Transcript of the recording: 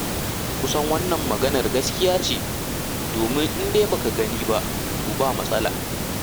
Kusan wannan maganar gaskiya ce, domin in dai ba ka gani ba, to ba matsala.